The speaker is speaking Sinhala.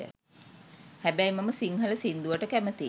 හැබැයි මම සිංහල සින්දුවට කැමතියි